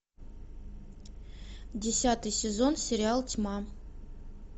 десятый сезон сериал тьма